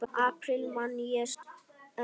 apríl man ég enn.